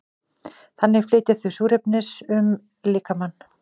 þannig flytja þau súrefnis um líkamann